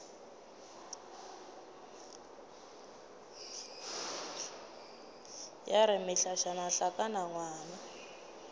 ya re mehlašana hlakana ngwang